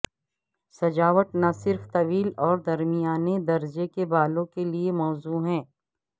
سجاوٹ نہ صرف طویل اور درمیانے درجے کے بالوں کے لئے موزوں ہے